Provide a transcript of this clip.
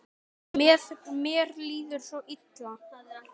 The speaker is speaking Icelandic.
Mér líður svo illa.